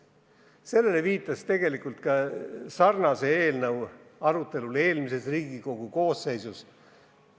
Sellele viidati tegelikult ka sarnase eelnõu arutelul eelmise Riigikogu koosseisu ajal.